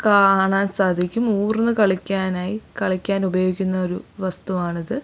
കാണാൻ സാധിക്കും ഊർന്ന് കളിക്കാനായി കളിക്കാൻ ഉപയോഗിക്കുന്ന ഒരു വസ്തു ആണിത്.